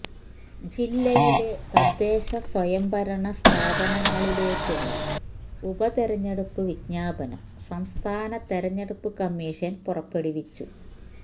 ജില്ലയിലെ തദ്ദേശസ്വയംഭരണ ഭരണ സ്ഥാപനങ്ങളിലേക്കുള്ള ഉപതെരഞ്ഞെടുപ്പ് വിജ്ഞാപനം സംസ്ഥാന തെരഞ്ഞടുപ്പ് കമ്മീഷന് പുറപ്പെടുവിച്ചു